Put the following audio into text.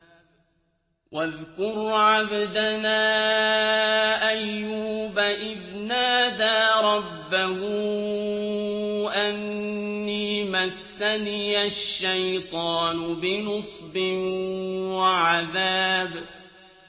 وَاذْكُرْ عَبْدَنَا أَيُّوبَ إِذْ نَادَىٰ رَبَّهُ أَنِّي مَسَّنِيَ الشَّيْطَانُ بِنُصْبٍ وَعَذَابٍ